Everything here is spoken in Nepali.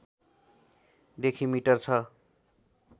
देखि मिटर छ